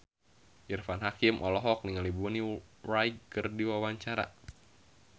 Irfan Hakim olohok ningali Bonnie Wright keur diwawancara